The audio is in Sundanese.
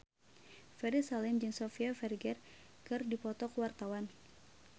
Ferry Salim jeung Sofia Vergara keur dipoto ku wartawan